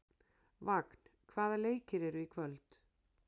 Vagn, hvaða leikir eru í kvöld?